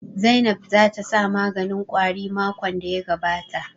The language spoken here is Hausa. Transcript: Zainab ta sa maganin ƙwari makon da ya gabata